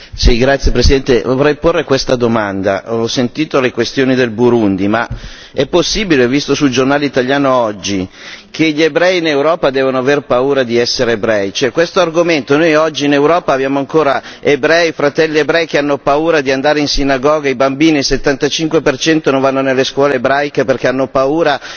Signora Presidente, onorevoli colleghi, vorrei porre questa domanda ho sentito la questione del Burundi, ma è possibile ho visto sul giornale italiano oggi che gli ebrei in Europa devono aver paura di essere ebrei? Cioè questo argomento noi oggi in Europa abbiamo ancora ebrei, fratelli ebrei che hanno paura di andare in sinagoga, i bambini per il 75 per cento non vanno nelle scuole ebraiche perché hanno paura.